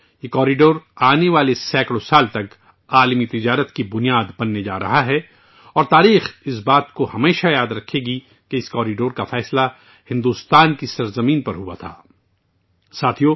یہ راہداری آنے والے سینکڑوں برسوں تک عالمی تجارت کی بنیاد بننے جا رہی ہے اور تاریخ ہمیشہ یاد رکھے گی کہ یہ راہداری بھارت کی سرزمین پر شروع کی گئی تھی